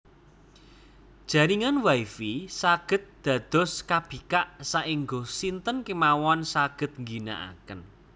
Jaringan Wi Fi saged dados kabikak saengga sinten kemawon saged ngginakaken